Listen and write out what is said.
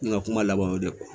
N ka kuma laban y'o ye